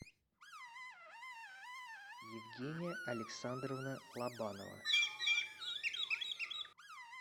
евгения александровна лобанова